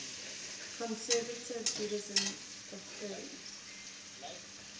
conservative judaism affirms